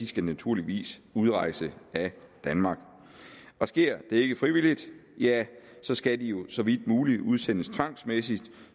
skal naturligvis udrejse af danmark sker det ikke frivilligt ja så skal de jo så vidt muligt udsendes tvangsmæssigt